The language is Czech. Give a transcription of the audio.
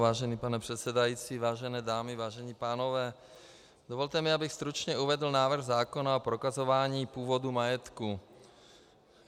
Vážený pane předsedající, vážené dámy, vážení pánové, dovolte mi, abych stručně uvedl návrh zákona o prokazování původu majetku.